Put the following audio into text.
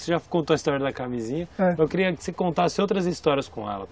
Você já contou a história da camisinha, é, mas eu queria que você contasse outras histórias com ela.